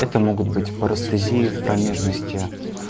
это могут быть парестезии в промежности